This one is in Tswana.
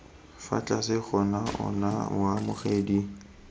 fa tlase ga ona moamogedi